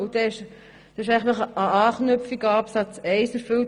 Damit ist eine Anknüpfung an den Absatz 1 erfüllt.